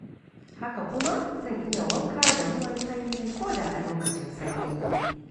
Haka kuma zan iya wanka da ruwan sanyi ko da a lokacin sanyi ne.